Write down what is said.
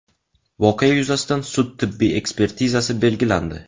Voqea yuzasidan sud tibbiy ekspertizasi belgilandi.